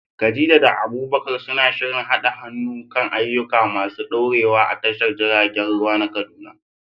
Khadija da Abubakar suna shirin haɗa hannu kan ayyuka masu ɗorewa a tashar jiragen ruwa ta Kaduna.